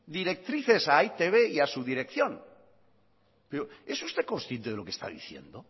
directrices a etb y a su dirección pero es usted consciente de lo que está diciendo